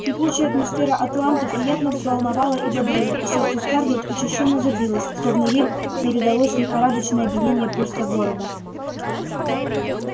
кипучая атмосфера атланты приятно взволновала и бодрила и сердце скарлетт учащённо забилось словно ей передалось лихорадочное биение пульса города